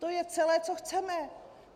To je celé, co chceme.